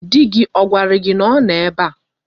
Di gi ogwara gi na o no ebe a?